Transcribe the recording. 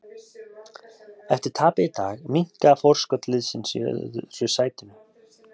Eftir tapið í dag minnkaði forskot liðsins í öðru sætinu.